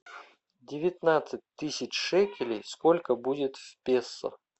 девятнадцать тысяч шекелей сколько будет в песо